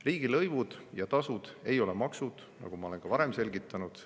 Riigilõivud ja tasud ei ole maksud, nagu ma olen ka varem selgitanud.